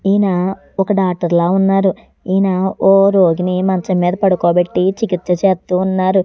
ఈయన ఒక డాక్టర్ లా ఉన్నారు ఈయన ఒ రోగిని మంచం మీద పడుకోబెట్టి చికిత్స చేస్తూ ఉన్నారు.